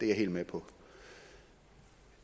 jeg helt med på